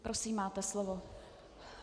Prosím, máte slovo.